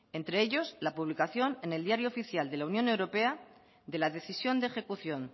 entre ellos la publicación en el diario oficial de la unión europea de la decisión de ejecución